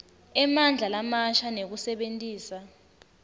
emandla lamasha nekusebentisa